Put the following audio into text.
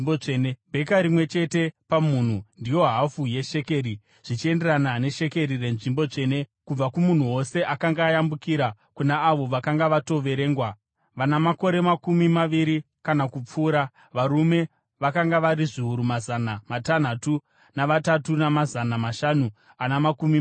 bheka rimwe chete pamunhu, ndiyo hafu yeshekeri , zvichienderana neshekeri renzvimbo tsvene, kubva kumunhu wose akanga ayambukira kuna avo vakanga vatoverengwa, vana makore makumi maviri kana kupfuura, varume vakanga vari zviuru mazana matanhatu navatatu namazana mashanu ana makumi mashanu.